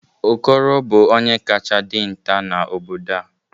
okoro bu onye kacha dinta n'obodo a